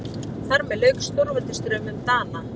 Þar með lauk stórveldisdraumum Dana.